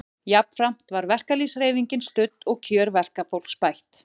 Jafnframt var verkalýðshreyfingin studd og kjör verkafólks bætt.